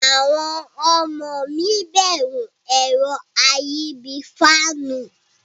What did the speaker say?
Awon omo mi beru ero ayi bii faanu.